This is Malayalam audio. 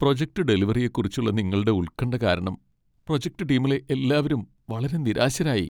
പ്രൊജക്റ്റ്‌ ഡെലിവറിയെക്കുറിച്ചുള്ള നിങ്ങളുടെ ഉൽകണ്ഠ കാരണം പ്രോജക്ട് ടീമിലെ എല്ലാവരും വളരെ നിരാശരായി .